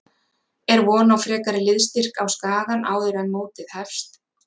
Er von á frekari liðsstyrk á Skagann áður en mótið hefst?